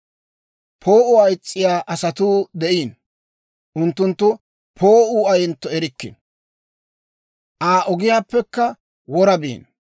«Poo'uwaa is's'iyaa asatuu de'iino; unttunttu poo'uu ayentto erikkino; Aa ogiyaappekka wora biino.